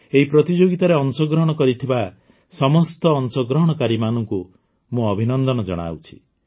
ଏହି ପ୍ରତିଯୋଗିତାରେ ଅଂଶଗ୍ରହଣ କରିଥିବା ସମସ୍ତ ଅଂଶ ଗ୍ରହଣକାରୀ ମାନଙ୍କୁ ମୁଁ ଅଭିନନ୍ଦନ ଜଣାଉଛି